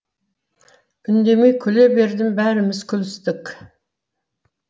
үндемей күле бердім бәріміз күлістік